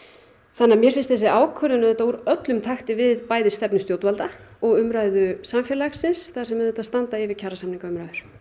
þannig að mér finnst þessi ákvörðun auðvitað vera úr öllum takti við bæði stefnu stjórnvalda og umræðu samfélagsins þar sem standa yfir kjarasamningaviðræður